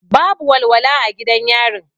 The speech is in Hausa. Babu walwala a gidan yarin.